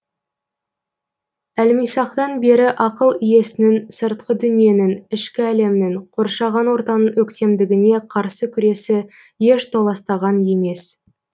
әлмисақтан бері ақыл иесінің сыртқы дүниенің ішкі әлемнің қоршаған ортаның өктемдігіне қарсы күресі еш толастаған емес